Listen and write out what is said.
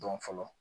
Dɔn fɔlɔ